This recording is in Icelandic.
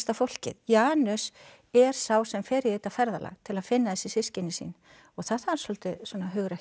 fólkið Janus er sá sem fer í þetta ferðalag til að finna þessi systkini sín og það þarf svolítið hugrekki